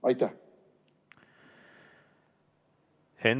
Aitäh!